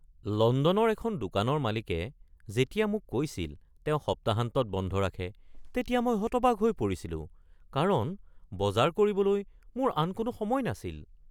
লণ্ডনৰ এখন দোকানৰ মালিকে যেতিয়া মোক কৈছিল তেওঁ সপ্তাহান্তত বন্ধ ৰাখে তেতিয়া মই হতবাক হৈ পৰিছিলোঁ কাৰণ বজাৰ কৰিবলৈ মোৰ আন কোনো সময় নাছিল।